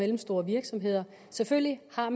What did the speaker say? mellemstore virksomheder selvfølgelig har